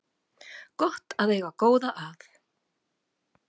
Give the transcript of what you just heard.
Gott er að eiga góða að